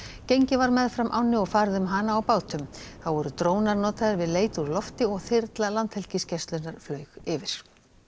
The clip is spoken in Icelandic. gengið var meðfram ánni og farið um hana á bátum þá voru drónar notaðir við leit úr lofti og þyrla Landhelgisgæslunnar flaug yfir